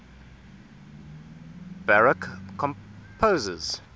baroque composers